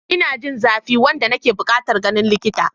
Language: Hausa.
Ina jin zafi wanda nake buƙatar ganin likita.